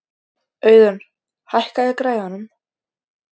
Auðun, hækkaðu í græjunum.